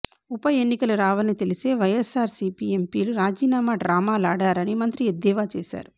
ఉప ఎన్నికలు రావని తెలిసే వైఎస్ఆర్సిపి ఎంపీలు రాజీనామా డ్రామాలాడారని మంత్రి ఎద్దేవా చేశారు